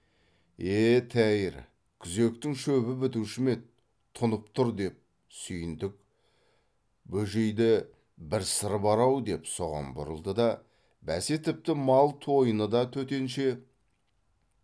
е тәйір күзектің шөбі бітуші ме еді тұнып тұр деп сүйіндік бөжейді бір сыры бар ау деп соған бұрылды да бәсе тіпті мал тойыны да төтенше